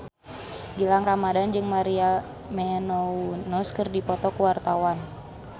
Gilang Ramadan jeung Maria Menounos keur dipoto ku wartawan